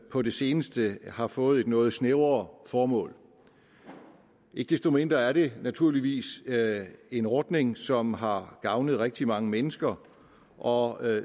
på det seneste har fået et noget snævere formål ikke desto mindre er det naturligvis en ordning som har gavnet rigtig mange mennesker og